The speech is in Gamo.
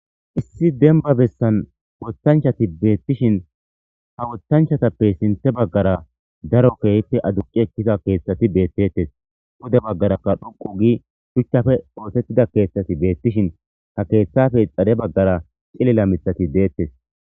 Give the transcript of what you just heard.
Issi demba bessan woththanchati dettes.ha woththanchatappe sinthe bagara daro kehippe adduqi eqqida keththeti bettetes.pude bagaraka dhuqu gii shuchcha kexettida keththeti betishin keththape xadde bagara cillila miththati de'ettes.